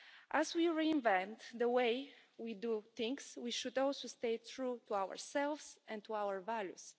As we reinvent the way we do things, we should also stay true to ourselves and to our values.